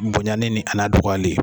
Bonyan li ni a dɔgɔyali.